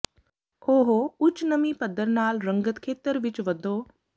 ਉਹ ਉੱਚ ਨਮੀ ਪੱਧਰ ਨਾਲ ਰੰਗਤ ਖੇਤਰ ਵਿੱਚ ਵਧੋ